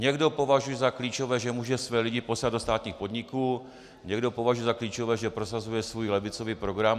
Někdo považuje za klíčové, že může své lidi posílat do státních podniků, někdo považuje za klíčové, že prosazuje svůj levicový program.